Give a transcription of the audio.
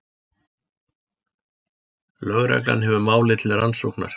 Lögregla hefur málið til rannsóknar